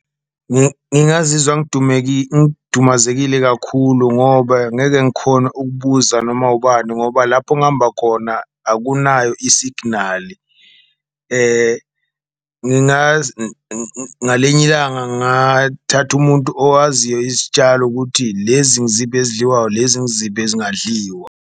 Ngingazizwa ngidumazekile kakhulu ngoba angeke ngikhone ukubuza noma ubani ngoba lapho ngihamba khona akunayo i-signal, ngalinye ilanga ngathatha umuntu owaziyo izitshalo ukuthi lezi ngiziphi ezidliwayo, lezi ngiziphi ezingadliwa.